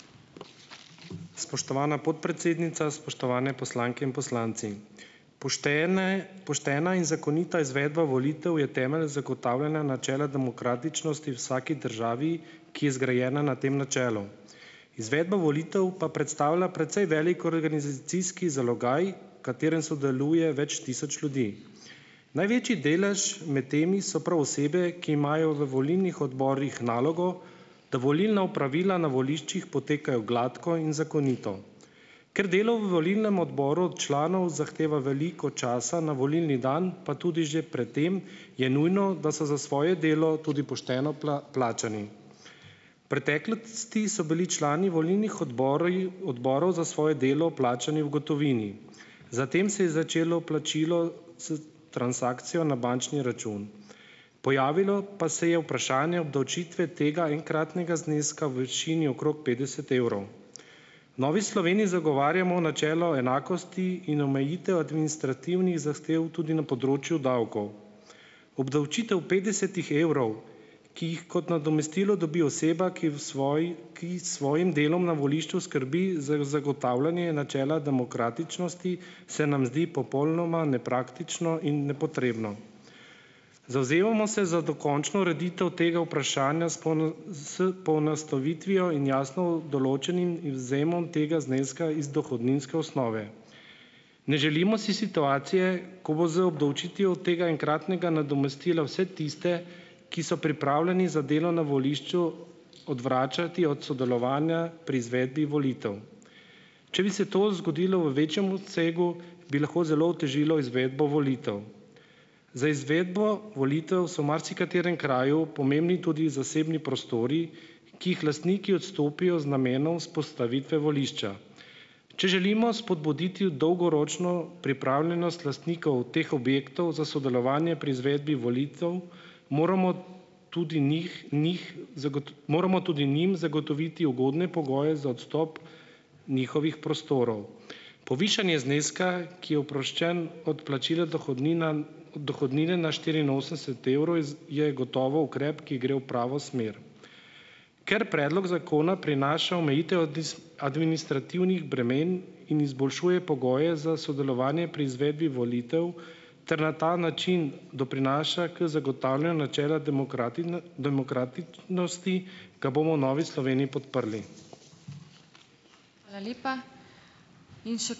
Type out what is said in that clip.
Spoštovana podpredsednica, spoštovane poslanke in poslanci! Poštene, poštena in zakonita izvedba volitev je temelj zagotavljanja načela demokratičnosti vsaki državi, ki je zgrajena na tem načelu. Izvedba volitev pa predstavlja precej velik organizacijski zalogaj, katerem sodeluje več tisoč ljudi. Največji delež med temi so prav osebe, ki imajo v volilnih odborih nalogo, da volilna opravila na voliščih potekajo gladko in zakonito. Ker delo v volilnem odboru od članov zahteva veliko časa na volilni dan pa tudi že pred tem, je nujno, da so za svoje delo tudi pošteno plačani. V preteklosti so bili člani volilnih odborov za svoje delo plačani v gotovini, zatem se je začelo plačilo s transakcijo na bančni račun, pojavilo pa se je vprašanje obdavčitve tega enkratnega zneska v višini okrog petdeset evrov. V Novi Sloveniji zagovarjamo načelo enakosti in omejitev administrativnih zahtev tudi na področju davkov. Obdavčitev petdesetih evrov, ki jih kot nadomestilo dobi oseba, ki v svoji ki s svojim delom na volišču skrbi za zagotavljanje načela demokratičnosti, se nam zdi popolnoma nepraktično in nepotrebno. Zavzemamo se za dokončno ureditev tega vprašanja s s poenostavitvijo in jasno določenim in izvzemom tega zneska iz dohodninske osnove. Ne želimo si situacije, ko bo z obdavčitvijo tega enkratnega nadomestila vse tiste, ki so pripravljeni za delo na volišču, odvračati od sodelovanja pri izvedbi volitev. Če bi se to zgodilo v večjem obsegu, bi lahko zelo otežilo izvedbo volitev. Za izvedbo volitev so marsikaterem kraju pomembni tudi zasebni prostori, ki jih lastniki odstopijo z namenom vzpostavitve volišča. Če želimo spodbuditi dolgoročno pripravljenost lastnikov teh objektov za sodelovanje pri izvedbi volitev, moramo tudi njih njih moramo tudi njim zagotoviti ugodne pogoje za odstop njihovih prostorov. Povišanje zneska, ki je oproščen od plačila dohodnine na štiriinosemdeset evrov, je gotovo ukrep, ki gre v pravo smer. Ker predlog zakona prinaša omejitev administrativnih bremen in izboljšuje pogoje za sodelovanje pri izvedbi volitev ter na ta način doprinaša k zagotavljanju načela demokratičnosti, ga bomo v Novi Sloveniji podprli.